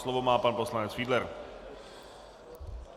Slovo má pan poslanec Fiedler.